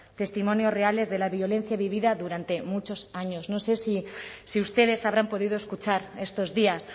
testimonios reales de la violencia vivida durante muchos años no sé si ustedes habrán podido escuchar estos días